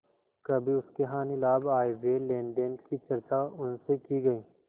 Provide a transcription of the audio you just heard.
कभी उसके हानिलाभ आयव्यय लेनदेन की चर्चा उनसे की गयी